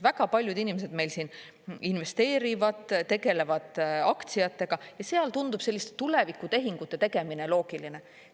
Väga paljud inimesed meil siin investeerivad, tegelevad aktsiatega, seal tundub selliste tulevikutehingute tegemine loogiline.